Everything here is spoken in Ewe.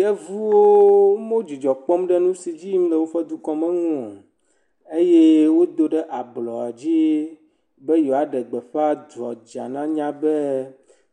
Yevuwo medzidzɔ kpɔm ɖe nu edzi yim le woƒe dukɔme nu o eye wodo ɖe ablɔdzi be yewoaɖe gbeƒa duadza nanya be